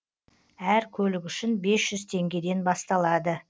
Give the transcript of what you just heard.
әр көлік үшін бес жүз теңгеден басталады